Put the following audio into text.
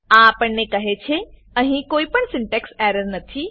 આ આપણને કહે છે અહી કોઈ પણ સીનટેક્સ એરર નથી